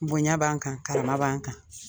Bonɲa b'an kan, karama b'an kan.